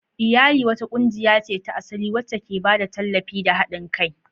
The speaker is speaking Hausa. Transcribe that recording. Iyali wata ƙungiya ce ta asali wacce ke ba da tallafi da haɗin kai.